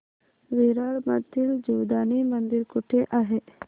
विरार मधील जीवदानी मंदिर कुठे आहे